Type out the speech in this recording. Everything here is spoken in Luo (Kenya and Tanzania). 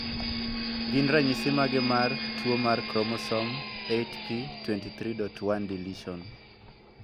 Gin ranyisi mage mar tuo mar Chromosome 8p23.1 deletion?